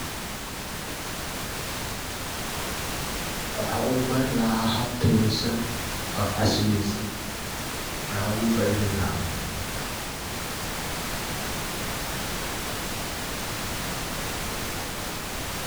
Waxan u bari laha hab tayesan oo casri yesan ayan ogu faideyni laha.